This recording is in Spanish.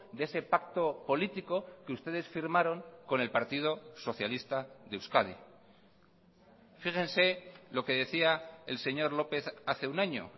de ese pacto político que ustedes firmaron con el partido socialista de euskadi fíjense lo que decía el señor lópez hace un año